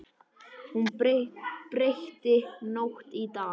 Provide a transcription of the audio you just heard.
Hún breytti nótt í dag.